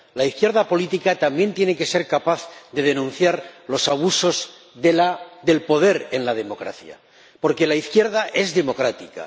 La izquierda política también tiene que ser capaz de denunciar los abusos del poder en la democracia, porque la izquierda es democrática.